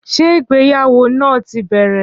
Ṣé ìgbéyàwó náà ti bẹ̀rẹ̀?